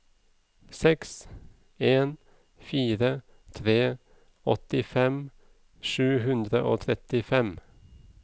seks en fire tre åttifem sju hundre og trettifem